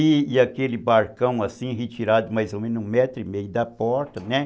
E aquele barcão assim, retirado mais ou menos um metro e meio da porta, né?